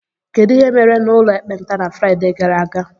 Kedu ihe mere n'ụlọ ekpenta na Fraịde gara aga?